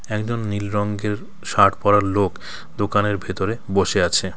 একজন নীল রঙ্গের শার্ট পরা লোক দোকানের ভেতরে বসে আছে .